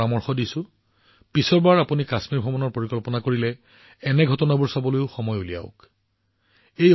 পৰৱৰ্তীবাৰ আপোনালোকে কাশ্মীৰ ভ্ৰমণৰ পৰিকল্পনা কৰিলে এনে অনুষ্ঠান পৰিদৰ্শন কৰিবলৈ সময় উলিয়াবলৈ মই আপোনালোকক পৰামৰ্শ দিম